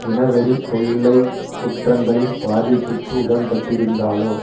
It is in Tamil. இனவெறிக் கொல்லைக் குற்றங்களின் பாதிப்புக்கு உட்பட்டிருந்தாலோ